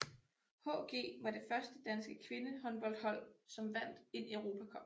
HG var det første danske kvindehåndboldhold som vandt en Europacup